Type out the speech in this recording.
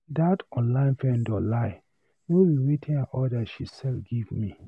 That online vendor lie, no be wetin I order she sell give me.